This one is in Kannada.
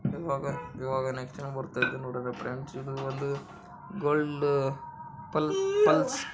ಈವಾಗ ಈವಾಗ ನೆಕ್ಕ ಕೊಡುತಾಯಿದಿನಿ ನೋಡನ ಫ್ರೆಂಡ್ಸ್ ಗೋಲ್ಡ್ ಪಲ್ ಪಲ್ಸ್ .